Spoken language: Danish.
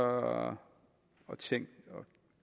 og tænkt og